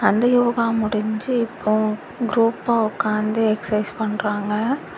அந்த யோகா முடிஞ்சு இப்போ குரூப்பா உட்காந்து எக்ஸைஸ் பண்றாங்க.